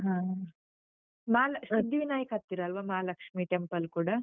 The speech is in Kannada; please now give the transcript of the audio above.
ಹ . ಮಾಲ ಸಿದ್ಧಿವಿನಾಯಕ್ ಹತ್ತಿರಲ್ವ? ಮಹಾಲಕ್ಷ್ಮೀ temple ಕೂಡ?